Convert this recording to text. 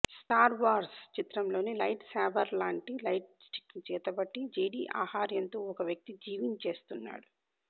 Star Wars చిత్రంలో light శాబర్లాంటి లైట్స్టిక్ను చేతపట్టి జెడి ఆహార్యంతో ఓ వ్యక్తి జీవించేస్తున్నాడు